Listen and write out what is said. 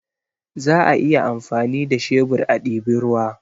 Za a iya amfani da shebur a diba ruwa